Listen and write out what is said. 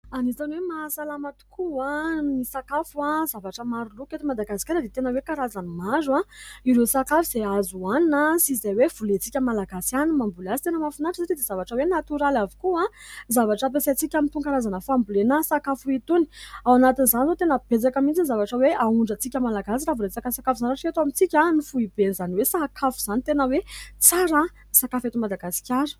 Anisany hoe mahasalama tokoa ny sakafo, zavatra maro loko eto Madagasikara dia tena hoe : karazany maro ireo sakafo izay azo hohanina sy izay hoe volentsika Malagasy ihany ny mamboly azy, tena mahafinaritra sady zavatra hoe : natoraly avokoa ny zavatra ampiasaintsika amin'itony karazana fambolena sakafo itony ; ao anatin'izany izao tena betsaka mihitsy ny zavatra hoe : ahondrantsika Malagasy raha vao resaka sakafo izany raha eto amintsika ny foiben'izany hoe : sakafo izany tena hoe : tsara sakafo eto Madagasikara.